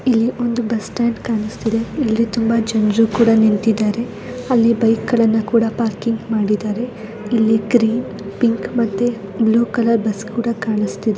ಇಲ್ಲಿ ಒಂದು bus stand ಕಾಣ್ತಾ ಇದೆ ಇಲ್ಲಿ ತುಂಬಾ ಜನರು ಕೂಡ ನಿಂತಿದ್ದಾರೆ ಅಲ್ಲಿ ಬೈಕ್ ಗಳನ್ನು ಕೂಡ ಪಾರ್ಕಿಂಗ್ ಮಾಡಿದ್ದಾರೆ ಇಲ್ಲಿ ಗ್ರೀನ್ ಪಿಂಕ್ ಮತ್ತೆ ಬ್ಲೂ ಕಲರ್ ಬಸ್ಸು ಕೂಡ ಕಾಣುಸ್ತಿದೆ .